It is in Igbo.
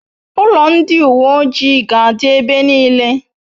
Ulo ndi uwe ojii ga'adi ebe nile